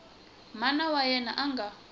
mana wa yena a nga